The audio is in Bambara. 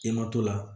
I ma to la